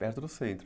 Perto do centro.